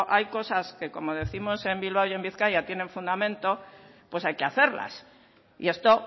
hay cosas que como décimos en bilbao y en bizkaia tienen fundamento pues hay que hacerlas y esto